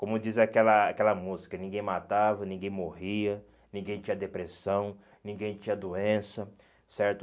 Como diz aquela aquela música, ninguém matava, ninguém morria, ninguém tinha depressão, ninguém tinha doença, certo?